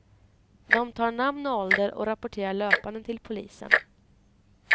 De tar namn och ålder och rapporterar löpande till polisen.